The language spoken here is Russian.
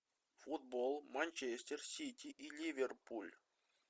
футбол манчестер сити и ливерпуль